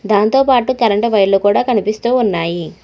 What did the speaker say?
దాంతోపాటు కరెంటు వైర్లు కూడా కనిపిస్తూ ఉన్నాయి.